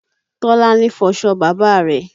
Tọ́lání fọṣọ bàbá rẹ̀